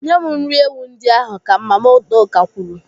Nye m nri ewu ndị ahụ, ka Mama Udoka kwuru.